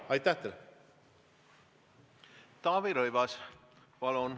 Taavi Rõivas, palun!